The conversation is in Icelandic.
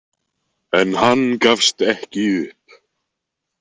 En hann gafst ekki upp.